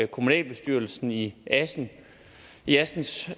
kommunalbestyrelsen i assens i assens